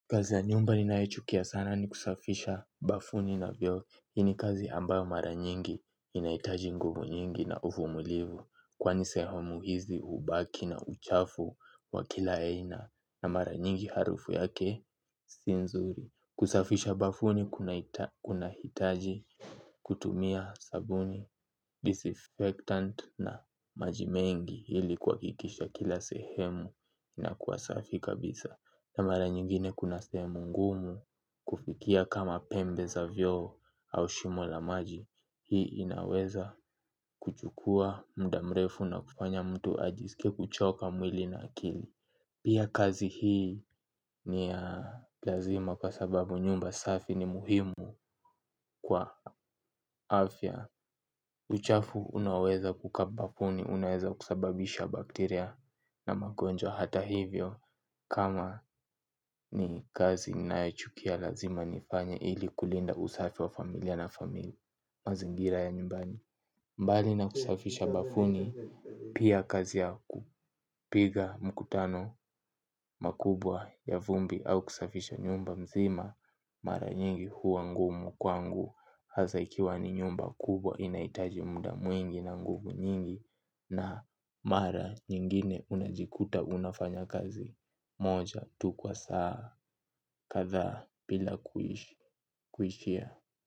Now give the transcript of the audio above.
Kazi ya nyumba ninayochukia sana ni kusafisha bafuni na vyoo hii ni kazi ambayo mara nyingi inahitaji nguvu nyingi na uvumulivu. Kwani sehemu hizi hubaki na uchafu wa kila aina. Na mara nyingi harufu yake si nzuri. Kusafisha bafuni kuna hitaji kutumia sabuni Disinfectant na maji mengi hili kwa kuhakikisha kila sehemu ina kuwa safi kabisa na mara nyigine kuna sehemu ngumu kufikia kama pembe za vyoo au shimo la maji. Hii inaweza kuchukua mda mrefu na kufanya mtu ajisike kuchoka mwili na akili. Pia kazi hii ni ya lazima kwa sababu nyumba safi ni muhimu kwa afya. Uchafu unaoweza kukaa bafuni unaweza kusababisha bakteria na magonjwa hata hivyo. Kama ni kazi ninayo chukia lazima nifanye ili kulinda usafi wa familia na familia mazingira ya nyumbani. Mbali na kusafisha bafuni pia kazi yaku piga mkutano mkubwa ya vumbi au kusafisha nyumba mzima. Mara nyingi huwa ngumu kwangu. Hasa ikiwa ni nyumba kubwa inahitaji muda mwingi na ngumu nyingi. Na mara nyingine unajikuta unafanya kazi moja tu kwa saa kadhaa bila kuishia.